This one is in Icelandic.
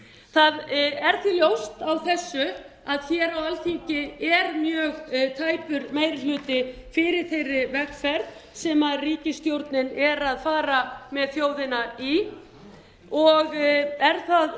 það er því ljóst af þessu að hér á alþingi er mjög tæpur meiri hluti fyrir þeirri vegferð sem ríkisstjórnin er að fara með þjóðina í og er það